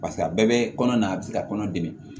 Paseke a bɛɛ bɛ kɔnɔ na a bɛ se ka kɔnɔ dɛmɛ